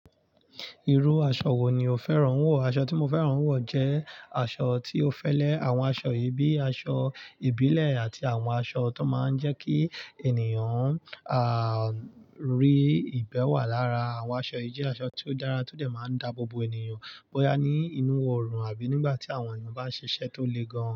Irú aṣọ wo ni o fẹ́ràn wọ̀? Aṣọ tí mo fẹ́ràn wọ̀ jẹ́ aṣọ tí ó fẹ́lẹ́. Àwọn aṣọ yìí bíi aṣọ ìbílẹ̀ àti àwọn aṣọ tó máa ń jẹ́ kí ènìyàn, à, rí ìbẹ́wọ̀ lára. Àwọn aṣọ yìí jẹ́ aṣọ tí ó dára, tó lè máa daábo bo ènìyàn bóyá ní inú orùn àbí nígbà tí àwọn ènìyàn bá ń ṣiṣẹ́ tó le gan-an.